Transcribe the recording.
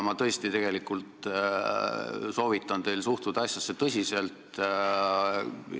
Ma tõesti soovitan teil asjasse tõsiselt suhtuda.